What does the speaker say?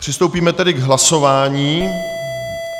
Přistoupíme tedy k hlasování.